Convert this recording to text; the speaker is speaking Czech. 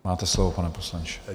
Máte slovo, pane poslanče.